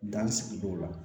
Danni sigidaw la